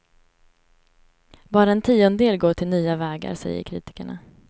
Bara en tiondel går till nya vägar, säger kritikerna.